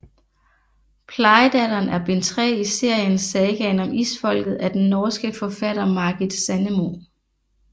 Plejedatteren er bind 3 i serien Sagaen om Isfolket af den norske forfatter Margit Sandemo